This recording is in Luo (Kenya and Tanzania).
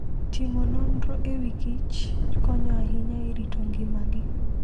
Timo nonro e wi kich konyo ahinya e rito ngimagi.